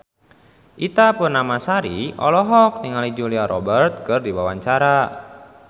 Ita Purnamasari olohok ningali Julia Robert keur diwawancara